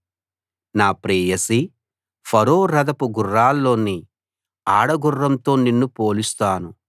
నా ప్రేయసీ ఫరో రథపు గుర్రాల్లోని ఆడ గుర్రంతో నిన్ను పోలుస్తాను